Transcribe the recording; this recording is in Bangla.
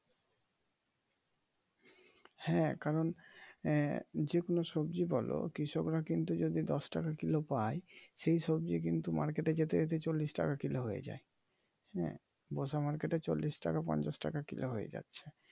হ্যাঁ কারন আহ যেকোন সবজি বলো কৃষকরা কিন্তু যদি দশ টাকা কিলো পায়, সেই সবজি কিন্তু মার্কেটে যেতে যেতে চল্লিশ টাকা কিলো হয়ে যায় । হ্যাঁ বোসা মার্কেটে চল্লিশ টাকা পঞ্চাশ টাকা কিলো হয়ে যাচ্ছে।